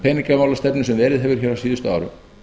peningamálastefnu sem verið hefur hér á síðustu árum